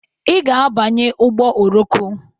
I ga-abanye ụgbọ oroko!